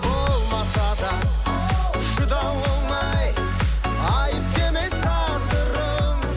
болмаса да шыдау оңай айыпты емес тағдырың